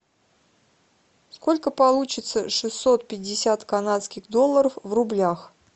сколько получится шестьсот пятьдесят канадских долларов в рублях